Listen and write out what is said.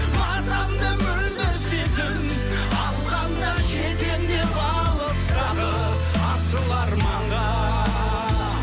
мазамды мөлдір сезім алғанда жетемін деп алыстағы асыл арманға